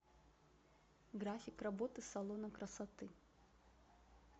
график работы салона красоты